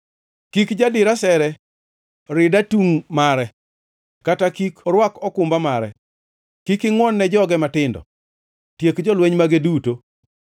Kik jadir asere rid atungʼ mare, kata kik orwak okumba mare. Kik ingʼwon-ne joge matindo; tiek jolweny mage duto.